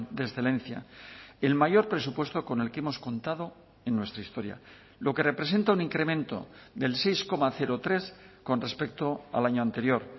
de excelencia el mayor presupuesto con el que hemos contado en nuestra historia lo que representa un incremento del seis coma tres con respecto al año anterior